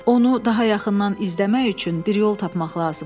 Onu daha yaxından izləmək üçün bir yol tapmaq lazımdır.